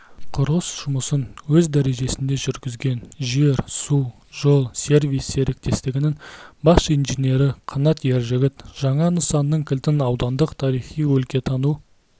құрылыс жұмысын өз дәрежесінде жүргізген жер-су-жол-сервис серіктестігінің бас инженері қанат ержігіт жаңа нысанның кілтін аудандық тарихи-өлкетану